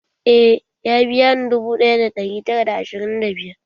Eh, ya biya ni dubu ɗaya da ɗari tara da ashirin da biyar.